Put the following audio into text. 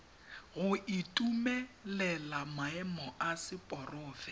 go itumelela maemo a seporofe